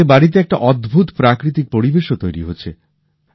এতে বাড়িতে একটা অদ্ভুত প্রাকৃতিক পরিবেশও তৈরি হচ্ছে